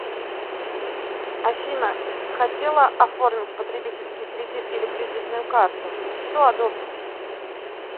афина хотела оформить потребительский кредит или кредитную карту что одобрите